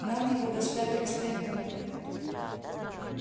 нам его доставили с таймыра